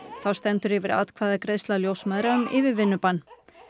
þá stendur yfir atkvæðagreiðsla ljósmæðra um yfirvinnubann